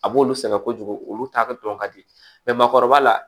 A b'olu sɛgɛn kojugu olu ta ka dɔn ka di makɔrɔba la